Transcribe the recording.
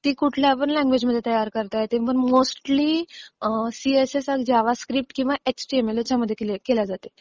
ती कुठल्यापण लँग्वेज मध्ये तयार करता येते. पण मोस्टली सीएसएस आणि जावास्क्रिप्ट किंवा एचटीएमएल ह्याच्यामध्ये केली जाते.